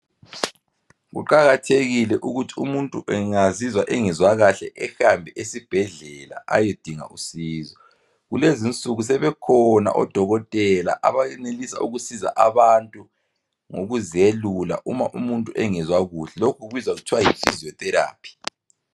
Kuqakathekile ukuthi umuntu engazizwa engezwa kahle ehambe esibhedlela ayedinga usizo kulezi nsuku sebekhona odokotela abayenelisa ukusiza abantu ngokuziyelula uma umuntu engezwa kuhle lokhu kubizwa kuthiwa yi physio therapy